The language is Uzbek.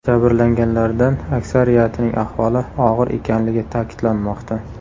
Jabrlanganlardan aksariyatining ahvoli og‘ir ekanligi ta’kidlanmoqda.